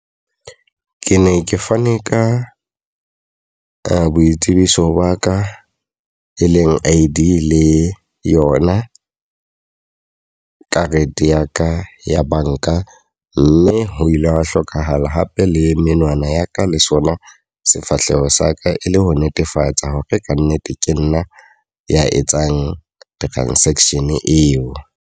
Ke ne ke fane ka ka boitsebiso ba ka e leng I_D le yona karete ya ka ya banka. Mme ho ile hwa hlokahala hape le menwana ya ka le sona sefahleho sa ka. E le ho netefatsa hore ka nnete ke nna ya etsang transaction eo.